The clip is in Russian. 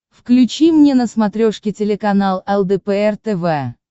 включи мне на смотрешке телеканал лдпр тв